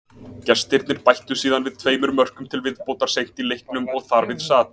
Gestirnir bættu síðan við tveimur mörkum til viðbótar seint í leiknum og þar við sat.